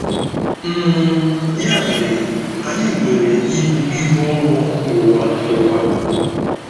um Ya mere, anyị nwere ibu ibu ọrụ n'ụwa ụwa.